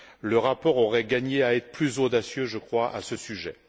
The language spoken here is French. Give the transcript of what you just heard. Le rapport aurait gagné à être plus audacieux, je crois, à ce sujet.